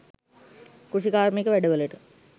කෘෂිකාර්මික වැඩවලට